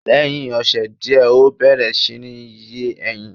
Lẹ́hiń ọ̀sè diẹ̀, ọ bẹẹ̀rẹ̀ si ní yé ẹyin